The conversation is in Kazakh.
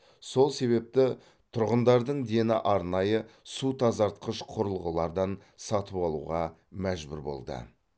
сол себепті тұрғындардың дені арнайы су тазартқыш құрылғылардан сатып алуға мәжбүр болды